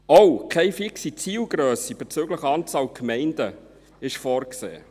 Auch ist keine fixe Zielgrösse bezüglich der Anzahl Gemeinden vorgesehen.